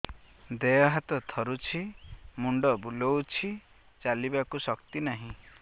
ଦେହ ହାତ ଥରୁଛି ମୁଣ୍ଡ ବୁଲଉଛି ଚାଲିବାକୁ ଶକ୍ତି ନାହିଁ